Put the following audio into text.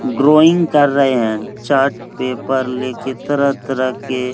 Growing कर रहे हैं चार्ट पेपर लेके तरह तरह के।